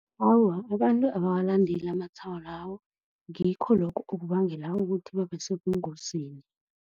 Awa, abantu abawalandeli amatshwayo lawo, ngikho lokho okubangela ukuthi babe sebungozini.